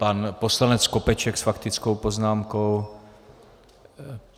Pan poslanec Skopeček s faktickou poznámkou.